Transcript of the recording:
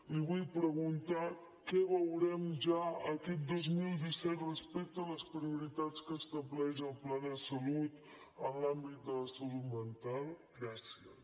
li vull preguntar què veurem ja aquest dos mil disset respecte a les prioritats que estableix el pla de salut en l’àmbit de la salut mental gràcies